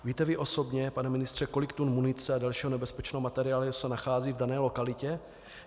Víte vy osobně, pane ministře, kolik tun munice a dalšího nebezpečného materiálu se nachází v dané lokalitě?